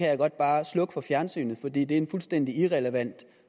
jeg godt bare slukke for fjernsynet for det er en fuldstændig irrelevant